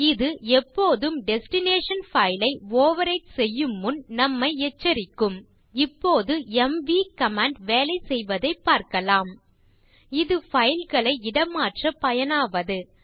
இது எப்போதும் destination file ஐ ஓவர்விரைட் செய்யும் முன் நம்மை எச்சரிக்கும் இப்போது எம்வி கமாண்ட் வேலை செய்வதைப் பார்க்கலாம் இது பைல் களை இடமாற்ற பயனாவது